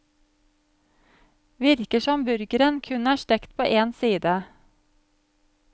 Virker som burgeren kun er stekt på en side.